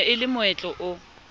ne e le moetlo o